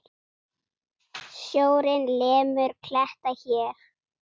Sjórinn lemur kletta hér.